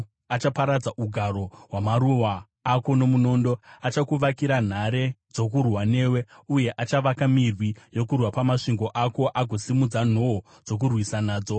Achaparadza ugaro hwamaruwa ako nomunondo, achakuvakira nhare dzokurwa newe, uye achavaka mirwi yokurwa pamasvingo ako agosimudza nhoo dzokukurwisa nadzo.